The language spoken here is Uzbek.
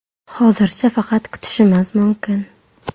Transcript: Hozircha faqat kutishimiz mumkin.